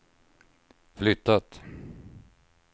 flyttat